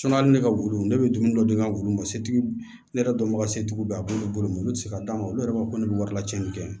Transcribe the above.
hali ne ka wulu ne bɛ dumuni dɔ di n ka wulu ma se tigi ne yɛrɛ dɔnbaga setigi b'a bolo olu tɛ se ka d'a ma olu yɛrɛ b'a fɔ ko ne bɛ wari lacɛnni kɛ